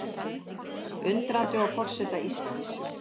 Undrandi á forseta Íslands